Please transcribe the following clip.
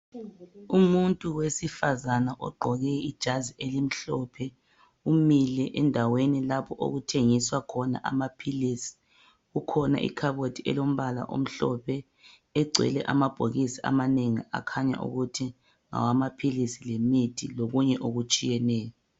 Umuntu wesifazana ogqoke ijazi elimhlophe umile endaweni lapho okuthengiswa khona amaphilisi. Kukhona ikhabothi elombala omhlophe egcwele amabhokisi amanengi akhanya ukuthi ngawamaphilisi lemithi lokunye okutshiyeneyo.